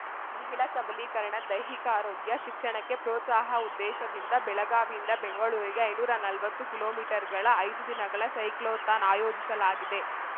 ಮಹಿಳಾ ಸಬಲೀಕರಣ ದೈಹಿಕ ಆರೋಗ್ಯ ಶಿಕ್ಷಣಕ್ಕೆ ಪ್ರೋತ್ಸಾಹ ಉದ್ದೇಶದಿಂದ ಬೆಳಗಾವಿಯಿಂದ ಬೆಂಗಳೂರಿಗೆ ಐನೂರಾ ನಲ್ವತ್ತು ಕಿಲೋಮೀಟರುಗಳ ಐದು ದಿನಗಳ ಸೈಕ್ಲೋಥಾನ್‌ ಆಯೋಜಿಸಲಾಗಿದೆ